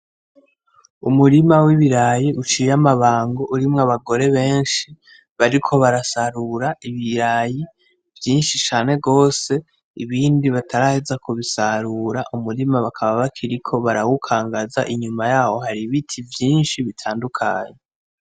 umurima w'ibirayi, uciye amabango urimwo abagore benshi bariko barasarura ibirayi vyinshi cane gwose ibindi bataraheza kubisarura umurima bakaba bakiriko barawukangaza inyuma yaho hari ibiti vyinshi bitandukanye.